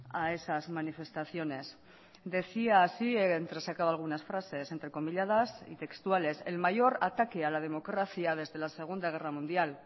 a esas manifestaciones decía así he entresacado algunas frases entrecomilladas y textuales el mayor ataque a la democracia desde la segunda guerra mundial